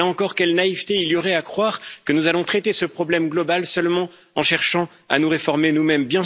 Là encore, quelle naïveté il y aurait à croire que nous allons traiter ce problème global seulement en cherchant à nous réformer nous mêmes!